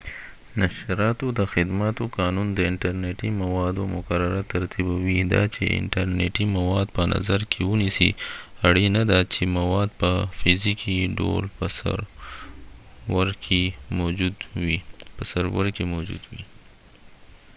نشراتو د خدماتو قانون د انټر نټی موادو مقرره ترتیبوي. دا چې انټر نیټی مواد په نظر کې ونیسی ،اړینه ده چې مواد په فزیکې ډول په سرور کې موجود وي